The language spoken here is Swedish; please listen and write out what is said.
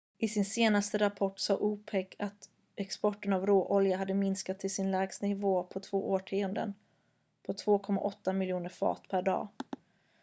i sin senaste rapport sade opec att exporten av råolja hade minskat till sin lägsta nivå på två årtionden på 2,8 miljoner fat per dag